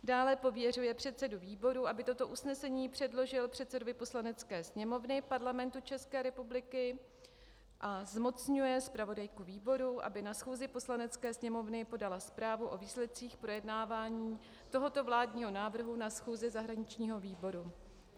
Dále pověřuje předsedu výboru, aby toto usnesení předložil předsedovi Poslanecké sněmovny Parlamentu České republiky, a zmocňuje zpravodajku výboru, aby na schůzi Poslanecké sněmovny podala zprávu o výsledcích projednávání tohoto vládního návrhu na schůzi zahraničního výboru.